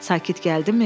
Sakit gəldimi?